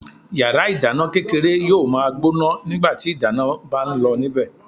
Yàrá ìdáná kékeré yóò ma gbóná nígbàtí ìdáná ń bá ń lọ níbẹ̀.